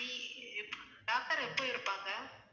doctor எப்ப இருப்பாங்க